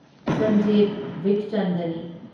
Sanjiv ꯕꯤꯈꯆꯟꯗꯅꯤ